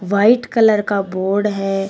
White colour का board है।